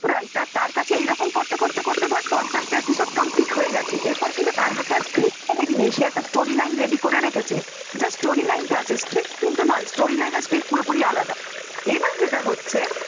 scriptwriter রা তার কাছে এরকম করতে করতে ধর পঞ্চাশ টি বিষয়ের complete হয়ে গেছে। এরপর কিন্তু তার হাতে আর script টা রেডি নেই সে একটা story line ready করে রেখেছে, just story line টা আছে script কিন্তু নয় । story র line এবার যেটা হচ্ছে।